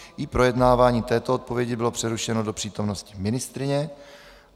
I projednávání této odpovědi bylo přerušeno do přítomnosti ministryně.